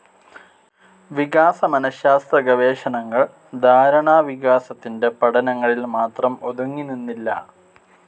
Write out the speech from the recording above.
വികാസ മനഃശാസ്ത്ര ഗവേഷണങ്ങൾ ധാരണാവികാസത്തിന്റെ പഠനങ്ങളിൽ മാത്രം ഒതുങ്ങിനിന്നില്ല.